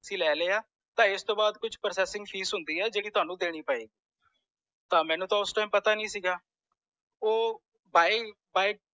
ਅਸੀਂ ਲੈ ਲਿਆ ਤਾਂ ਇਸ ਤੂੰ ਬਾਅਦ ਕੁਛ processing fees ਹੁੰਦੀ ਆ ਜੇਦੀ ਤੁਹਾਨੂੰ ਦੇਣੀ ਪਏਗੀ ਤਾਂ ਮੈਨੂੰ ਤਾਂ ਓਸ time ਪਤਾ ਨੀ ਸੀਗਾ ਓਹ ਫਾ file